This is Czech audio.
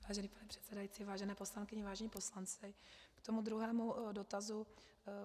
Vážený pane předsedající, vážené poslankyně, vážení poslanci, k tomu druhému dotazu.